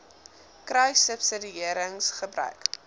kruissubsidiëringgebruik